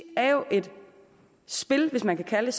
er jo et spil hvis man kan kalde